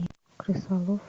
крысолов